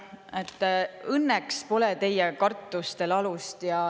Õnneks pole teie kartustel alust.